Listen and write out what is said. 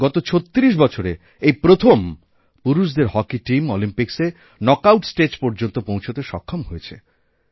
গত ৩৬ বছরে এইপ্রথম পুরুষদের হকি টিম অলিম্পিক্সে নক্ আউট স্টেজ পর্যন্ত পৌঁছতে সক্ষম হয়েছে